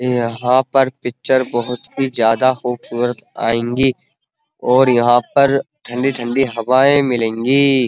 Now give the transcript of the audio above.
यहाँ पर पिक्चर बहुत ही ज्यादा खूबसूरत आएंगी और यहाँ पर ठंडी-ठंडी हवाएं मिलेंगी।